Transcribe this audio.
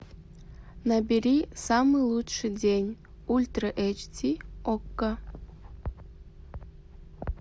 набери самый лучший день ультра эйч ди окко